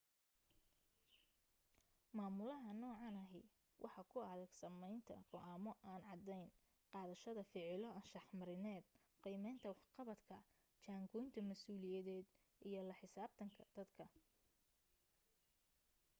maamulaha noocan ahi waxaa ku adag samaynta go'aamo aan cadayn qaadashada ficilo anshax marineed qiimaynta waxqabadka jaan goynta masuuliyadeed iyo la xisaabtanka dadka